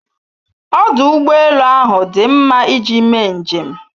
Ọdụ ụgbọelu ahụ dị mma iji mee njem.